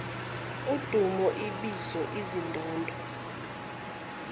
udumo ibizo izindondo